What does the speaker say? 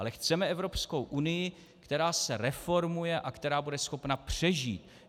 Ale chceme Evropskou unii, která se reformuje a která bude schopna přežít.